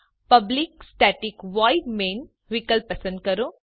public static void main વિકલ્પ પસંદ કરો